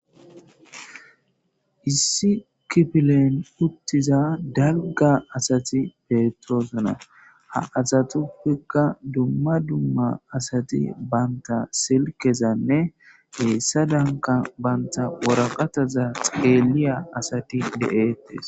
Issi kifile uttiza dalga asati betosona ha asatuppeka duma duma asati banta silkeza hesadanka banta waraqataza xeliya asati de'etes